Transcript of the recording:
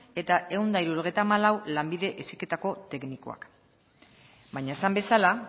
eta ehun eta hirurogeita hamalau lanbide heziketako teknikoak baina esan bezala